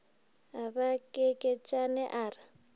a ba kekeetšane a re